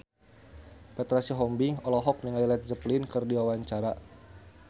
Petra Sihombing olohok ningali Led Zeppelin keur diwawancara